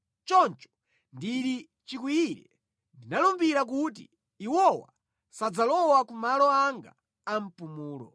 Choncho ndili chikwiyire, ndinalumbira kuti, “Iwowa sadzalowa ku malo anga a mpumulo.”